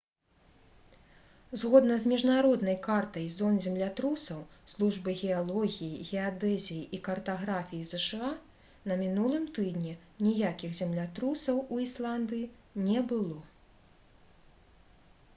згодна з міжнароднай картай зон землятрусаў службы геалогіі геадэзіі і картаграфіі зша на мінулым тыдні ніякіх землятрусаў у ісландыі не было